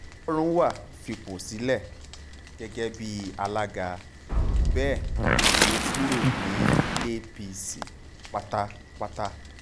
ọlọ́runwá fipò sílẹ̀ gẹ́gẹ́ bíi alága bẹ́ẹ̀ lọ kúrò ní apc pátápátá